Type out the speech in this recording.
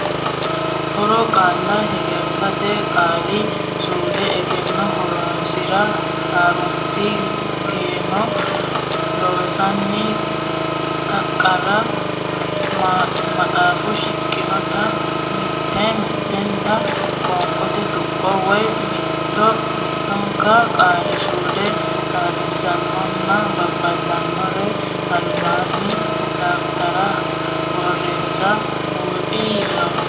Haaro Qaalla Hegersate Qaali suudu Egenno Horonsi ra Ha runsi keeno Loossinanni taqira maxaafu shiqqinota mitte mittenta qoonqote tuqqo woy mitto mittonka qaali suude xaadisansaranna babbadansara albaanni dafitarinsara borreessansa buuxi law.